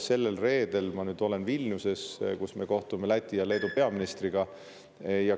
Sellel reedel ma olen Vilniuses, kus ma kohtun Läti ja Leedu peaministriga.